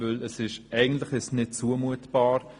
Denn eigentlich ist es nicht zumutbar.